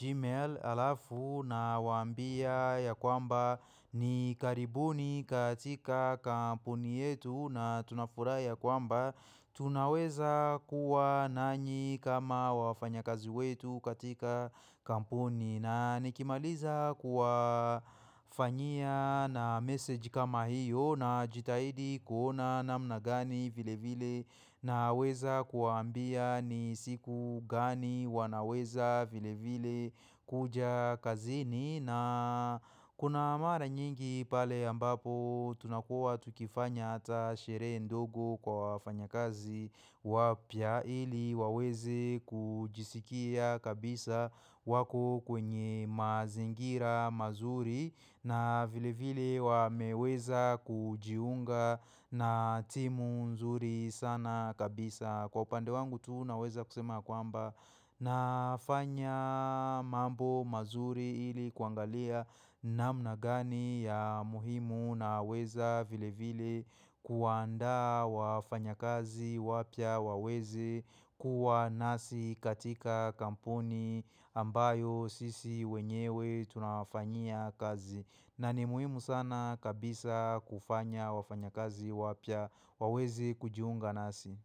gmail alafu na wambia ya kwamba ni karibuni katika kampuni yetu na tuna furahi ya kwamba Tunaweza kuwa nanyi kama wafanya kazi wetu katika kampuni na nikimaliza kuwa fanyia na message kama hiyo na jitahidi kuona namna gani vile vile na weza kuwaambia ni siku gani wanaweza vile vile kuja kazini na kuna mara nyingi pale ambapo tunakuwa tukifanya hata sherehe ndogo kwa wafanya kazi wapya ili wawezi kujisikia kabisa wako kwenye mazingira mazuri na vile vile wameweza kujiunga na timu nzuri sana kabisa. Na kwa upande wangu tu naweza kusema kwamba nafanya mambo mazuri ili kuangalia namna gani ya muhimu na weza vile vile kuwandaa wafanya kazi wapya waweze kuwa nasi katika kampuni ambayo sisi wenyewe tunafanya kazi. Na ni muhimu sana kabisa kufanya wafanya kazi wapya wawezi kujiunga nasi.